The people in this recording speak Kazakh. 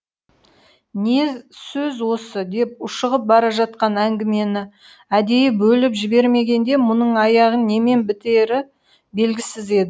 не сөз осы деп ушығып бара жатқан әңгімені әдейі бөліп жібермегенде мұның аяғы немен бітері белгісіз еді